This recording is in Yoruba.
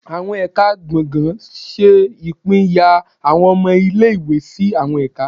Awọn Ẹka gbọngàn ṣe ipínyá awọn ọmọ ìlé-ìwé sí awọn ẹka